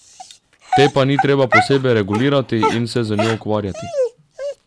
Te pa ni treba posebej regulirati in se z njo ukvarjati.